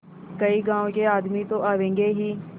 कई गाँव के आदमी तो आवेंगे ही